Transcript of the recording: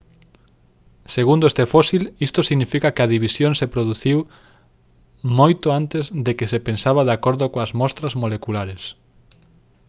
«segundo este fósil isto significa que a división se produciu moito antes do que se pensaba de acordo coas mostras moleculares